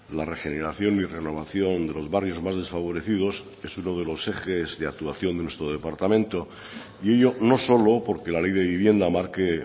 la regeneración y renovación de los barrios más desfavorecidos es uno de los ejes de actuación de nuestro departamento y ello no solo porque la ley de vivienda marque